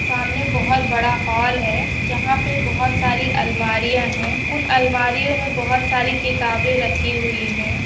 सामने बहुत बड़ा हॉल है जहा पे बहुत सारी अलमारिया है उन अलमारियो मे बहुत सारी किताबे रखी हुई है।